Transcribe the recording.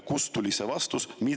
Kust tuli see vastus?